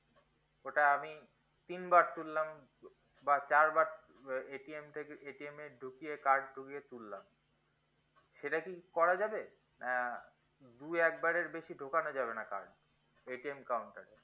ওটা আমি তিন বার তুললাম বা চার বার থেকে এ ঢুকিয়ে card ঢুকিয়ে তুললাম সেটা কি করা যাবে আহ দুই একবারের বেশি ঢোকানো যাবে না কেন counter এ